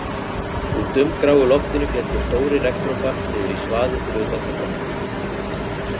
Úr dumbgráu loftinu féllu stórir regndropar niður í svaðið fyrir utan gluggana